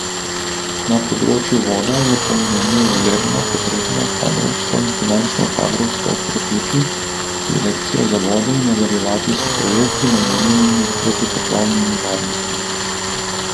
Na področju voda je po mnenju Lebna potrebno kadrovsko in finančno kadrovsko okrepitvi direkcijo za vode in nadaljevati s projekti namenjenimi protipoplavni varnosti.